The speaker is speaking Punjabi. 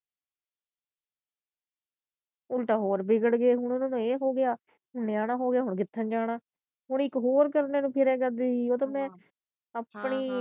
ਉਲਟਾ ਹੋਰ ਬਿਗੜ ਗਿਆ ਹੋਣਾ ਇਹਨਾਂ ਨੂੰ ਇਹ ਹੋਗਿਆ ਨਿਆਣਾ ਹੋਗਿਆ ਹੁਣ ਕਿਥੇ ਜਾਣਾ ਹੁਣ ਇਕ ਕਰਨੇ ਨੂੰ ਫਿਰੇਗਾ ਬੀ ਉਹ ਤਾ ਮੈ ਆਪਣੀ